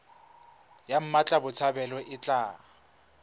ya mmatla botshabelo e tla